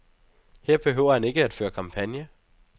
Her behøver han ikke at føre kampagne.